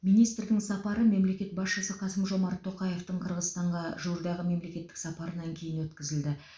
министрдің сапары мемлекет басшысы қасым жомарт тоқаевтың қырғызстанға жуырдағы мемлекеттік сапарынан кейін өткізілді